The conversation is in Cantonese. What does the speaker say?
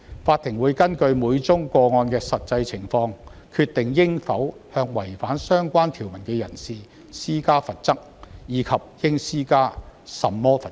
法庭會根據每宗個案的實際情況，決定應否向違反相關條文的人施加罰則，以及應施加甚麼罰則。